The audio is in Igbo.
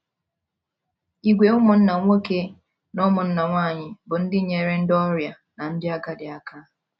Ìgwè ụmụnna nwoke na ụmụnna nwanyị bụ́ ndị nyeere ndị ọrịa na ndị agadi aka